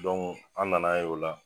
an nana ye o la.